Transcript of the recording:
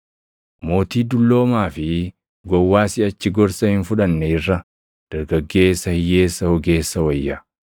Mootii dulloomaa fi gowwaa siʼachi gorsa hin fudhanne irra, dargaggeessa hiyyeessa ogeessa wayya.